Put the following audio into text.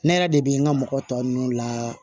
Ne yɛrɛ de bɛ n ka mɔgɔ tɔ ninnu la